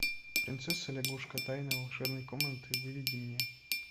принцесса лягушка тайна волшебной комнаты выведи мне